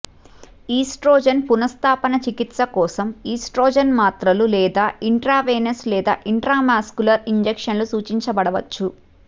oestrogen పునఃస్థాపన చికిత్స కోసం ఈస్ట్రోజెన్ మాత్రలు లేదా ఇంట్రావెనస్ లేదా ఇంట్రాముస్కులర్ ఇంజెక్షన్లు సూచించబడవచ్చు